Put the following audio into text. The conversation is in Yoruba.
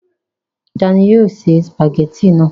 ta ni yóò ṣe sùpàgẹ́tì náà?